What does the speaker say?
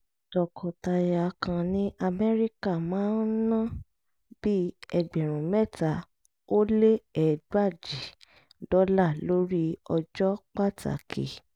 tọkọtaya kan ní amẹ́ríkà máa ń ná bí ẹgbẹ̀rún mẹ́ta ó lé ẹgbàajì dọ́là lórí ọjọ́ pàtàkì